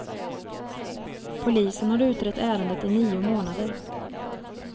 Polisen har utrett ärendet i nio månader.